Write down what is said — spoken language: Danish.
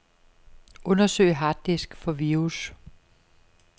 Undersøg harddisk for virus.